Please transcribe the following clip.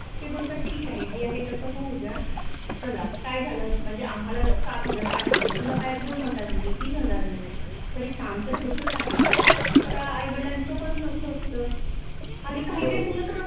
ते बोलतात ठिक आहे जे आहे तस होऊ द्या चला काय झालं म्हणजे आम्हाला सात हजारय आठ हजार तुला काय दोन हजार मिळेल तीन हजार मिळेल तरी काम तर होतच आहे तर आूई वडीलांच पण हे अस असत आणि काही काही मुल तर